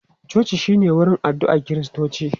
Coci shi ne wurin addu'a Kiristoci.